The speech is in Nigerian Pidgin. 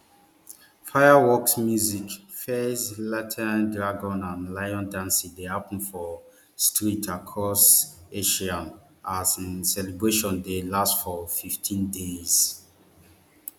fireworks music fairs lanterns dragon and lion dancing dey happun for streets across asia as um celebrations dey last for fifteen days